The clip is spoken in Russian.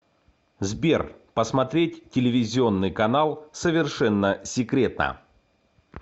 сбер посмотреть телевизионный канал совершенно секретно